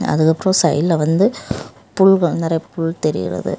அதுக்கப்புறம் சைடுல வந்து புல்க நறைய புல் தெரியிறது.